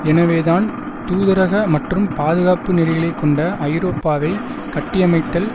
எனவேதான் தூதரக மற்றும் பாதுகாப்பு நெறிகளை கொண்ட ஐரோப்பாவை கட்டியமைத்தல்